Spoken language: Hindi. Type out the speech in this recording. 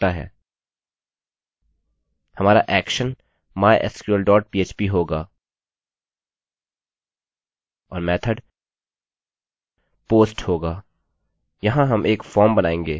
हमारा actionएक्शनmysql dot php होगा और method post होगा